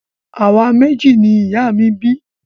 Àwa méjì ni ìyá mi bí